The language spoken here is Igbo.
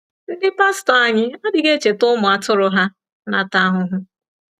Ndị pastọ anyị adịghị echeta ụmụ atụrụ ha na-ata ahụhụ.